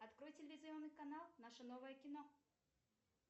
открой телевизионный канал наше новое кино